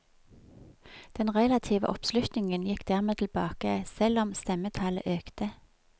Den relative oppslutningen gikk dermed tilbake, selv om stemmetallet økte.